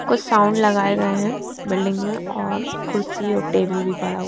कुछ साउंड लगाए हुए है बिल्डिंग में औरकुर्सी और टेबल भी बड़ा हुआ--